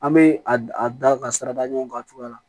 An bɛ a d a da ka sira da ɲɔgɔn kan a cogoya la